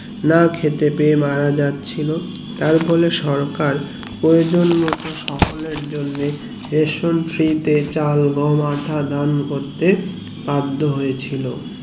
না খেতে পেরে মারা যাচ্ছিলো তার ফলে সরকার প্রয়োজন মতো সকলের জন্যে ration free তে চাল গম আটা দেন করতে বাধ্য হয়েছিল